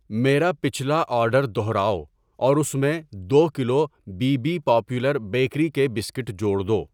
میرا پچھلا آرڈر دوہراؤ اور اس میں دو kilo B B Popular Bakery کے بسکٹ جوڑ دو۔